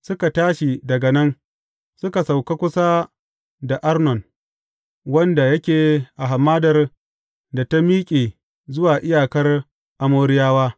Suka tashi daga nan, suka sauka kusa da Arnon wanda yake a hamadar da ta miƙe zuwa iyakar Amoriyawa.